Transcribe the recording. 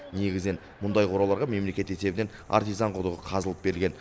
негізінен мұндай қораларға мемлекет есебінен артизан құдығы қазылып берілген